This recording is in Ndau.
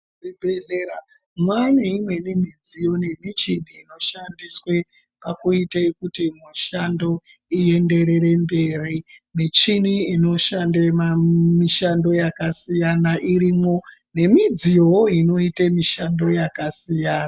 Muzvibhedhlera mwane imweni midziyo nemishini inoshandise pakuite kuti mishando ienderere mberi. Michini inoshande mishando yakasiyana irimwo nemidziyovo inoite mishando yakasiyana.